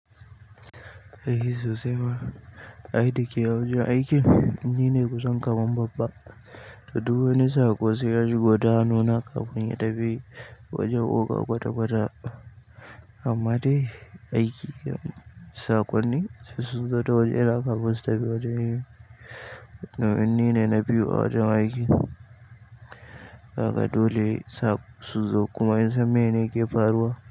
Eh sosai ma. Ai dake wajen aikin. Ni ne kusan kaman babba, to duk wani saƙo sai yashigo ta hannuna kafin ya tafi wajen oga kwata kwata. Amma dai aiki saƙonni sai sun zo ta waje na kafin su tafi waje. Domin ne na biyo ajin aiki. Kaga dole saƙo su zo kuma in san mene ke faruwa.